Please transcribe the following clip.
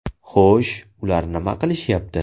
Xo‘sh, ular nima qilishyapti.